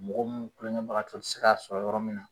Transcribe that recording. Mɔgɔ minnu kunkɛbagatɔ ti se k'a sɔrɔ yɔrɔ min na.